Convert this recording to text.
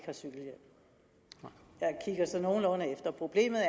jeg ser så nogenlunde efter problemet